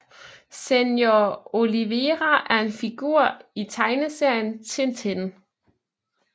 Senhor Olivera er en figur i tegneserien Tintin